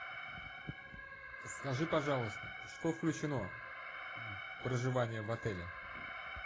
скажи пожалуйста что включено в проживание в отеле